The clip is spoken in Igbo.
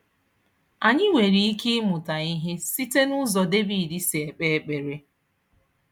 Anyị nwere ike ịmụta ihe site n'ụzọ David si ekpe ekpere.